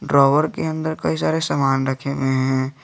Drawer के अंदर कई सारे सामान रखे हुए हैं।